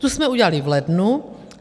Tu jsme udělali v lednu.